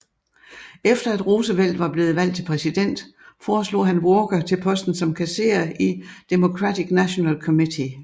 Efter at Roosevelt var blevet valgt til præsident foreslog han Walker til posten som kasserer i Democratic National Committee